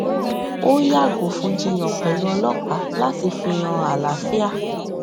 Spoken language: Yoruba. ó yàgò fún jiyàn pèlú ọlọpàá láti fi hàn àlàáfíà